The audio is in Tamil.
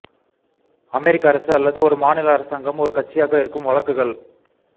அமெரிக்க அரசு அல்லது ஒரு மாநில அரசாங்கம் ஒரு கட்சியாக இருக்கும் வழக்குகள்